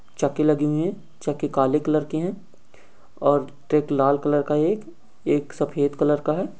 चक्के लगे हुए हैं चक्के काले कलर के हैं और ट्रक लाल कलर का है एक एक सफ़ेद कलर का है।